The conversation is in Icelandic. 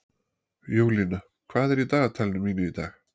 Júlína, hvað er í dagatalinu mínu í dag?